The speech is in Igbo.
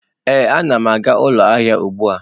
Ee, a na m aga ụlọ ahịa ahụ.